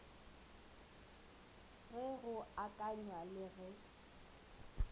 ge go akanywa le ge